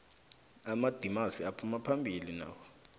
amadimasi aphumaphambili nawo